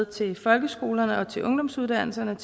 til folkeskolerne og til ungdomsuddannelserne